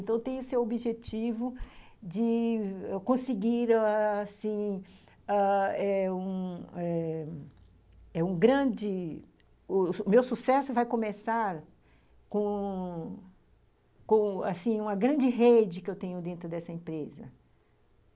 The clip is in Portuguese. Então, eu tenho esse objetivo de eu conseguir, assim, ãh eh ãh um grande... O meu sucesso vai começar com com, assim, uma grande rede que eu tenho dentro dessa empresa.